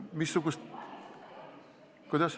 Missugust ...